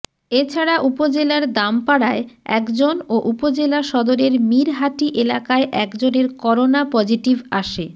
এ ছাড়া উপজেলার দামপাড়ায় একজন ও উপজেলা সদরের মীর হাটি এলাকায় একজনের করোনা পজিটিভ আসে